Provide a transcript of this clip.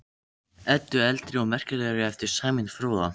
Eddu eldri og merkilegri eftir Sæmund fróða.